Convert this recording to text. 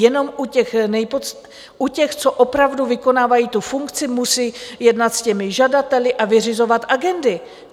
Jenom u těch, co opravdu vykonávají tu funkci, musejí jednat s těmi žadateli a vyřizovat agendy.